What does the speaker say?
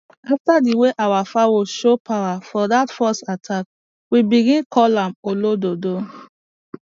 after the way our fowl show power for that fox attack we begin call am olododo